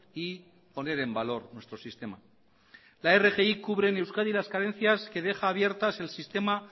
y poner en valor nuestro sistema la rgi cubre en euskadi las carencias que deja abiertas el sistema